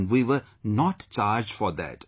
And we were not charged for that